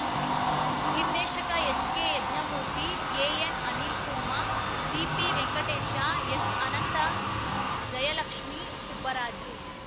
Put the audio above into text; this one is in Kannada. ನಿರ್ದೇಶಕ ಎಚ್‌ಕೆ ಯಜ್ಞಮೂರ್ತಿ ಎಎನ್‌ಅನಿಲ್‌ಕುರ್ಮಾ ಡಿಪಿವೆಂಕಟೇಶ ಎಸ್‌ಅನಂತ್‌ ಜಯಲಕ್ಷ್ಮೀ ಸುಬ್ಬರಾಜು